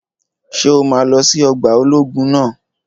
Ṣé o máa lọ sí ọgbà ológun naa?